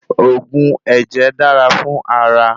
Òògùn ẹ̀jẹ̀ dára fún ara